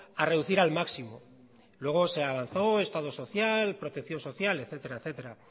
a reducir al máximo luego se avanzó estado social protección social etcétera